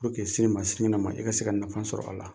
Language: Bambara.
Puruke sini ma sini nkɛnɛ ma i ka se ka nafa sɔrɔ a la.